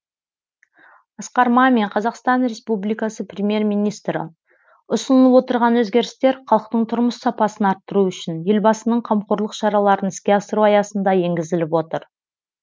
асқар мамин қазақстан республикасы премьер министрі ұсынылып отырған өзгерістер халықтың тұрмыс сапасын арттыру үшін елбасының қамқорлық шараларын іске асыру аясында енгізіліп отыр